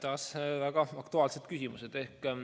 Taas väga aktuaalne küsimus.